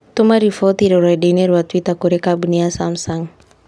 Tũma riboti rũrenda-inī rũa tũita kũrĩĩ kambuni samsung